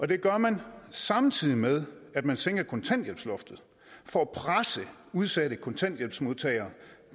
det gør man samtidig med at man sænker kontanthjælpsloftet for at presse udsatte kontanthjælpsmodtagere